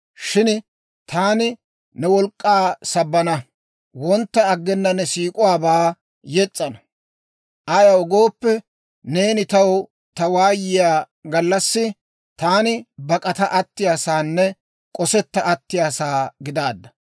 Shin taani ne wolk'k'aa sabbana; wontta aggena ne siik'uwaabaa yes's'ana. Ayaw gooppe, neeni taw ta waayiyaa gallassi, taani bak'ata attiyaa saanne k'osetta attiyaasaa gidaadda.